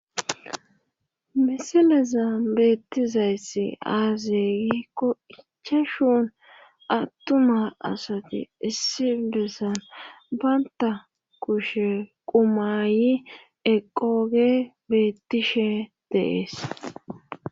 Misilezan beettizayssi aaze giikko ichchashu attuma asati issi besan bantta kushe qumaayi eqqooge beettishe de7ees.